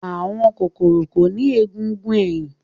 Àwọn kòkòrò kò ní egungun ẹ̀yìn.